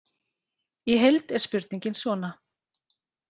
Í heild er spurningin svona: